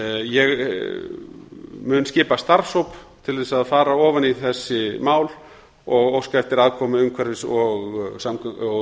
ég mun skipa starfshóp til að fara ofan í þessi mál og óska eftir aðkomu umhverfis og